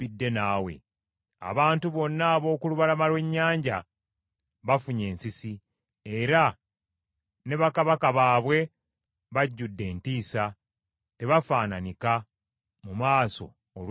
Abantu bonna ab’oku lubalama lw’ennyanja bafunye ensisi, era ne bakabaka baabwe bajjudde entiisa tebafaananika mu maaso olw’entiisa.